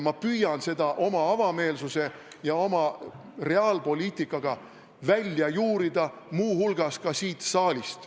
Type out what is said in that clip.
Mina püüan seda oma avameelsuse ja oma reaalpoliitikaga välja juurida muu hulgas ka siit saalist.